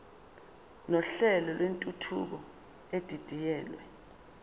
nohlelo lwentuthuko edidiyelwe